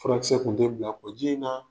Furakisɛ kun te bila kɔ ji in naa.